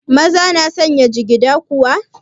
Maza na sanya jigida kuwa?